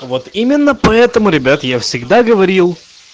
вот именно поэтому ребят я всегда говорил